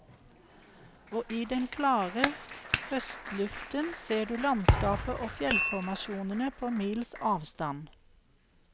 Og i den klare høstluften ser du landskapet og fjellformasjonene på mils avstand.